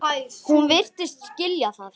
Hún virtist skilja það.